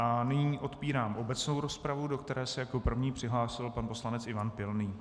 A nyní otvírám obecnou rozpravu, do které se jako první přihlásil pan poslanec Ivan Pilný.